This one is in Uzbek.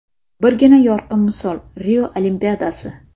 Birgina yorqin misol Rio Olimpiadasi.